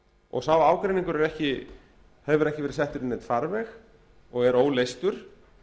og sá ágreiningur hefur ekki verið settur í neinn farveg og er óleystur